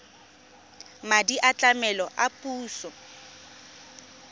madi a tlamelo a puso